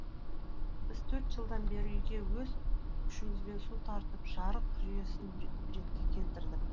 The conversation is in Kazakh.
біз төрт жылдан бері үйге өз күшімізбен су тартып жарық жүйесін ретке келтірдік